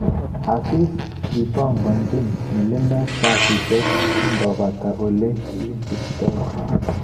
Aziz kipongonchin milimet kasishek kongokakopata olekisuptoi